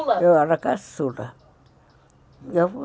Eu era caçula.